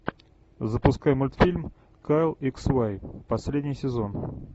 запускай мультфильм кайл икс вай последний сезон